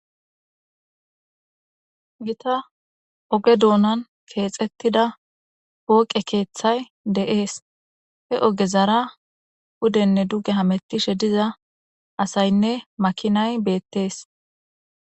gita oge duunan keexettida pooqe keeththay de7ees he oge zara hudenne duge hamettishe diza asaynne makinay beettees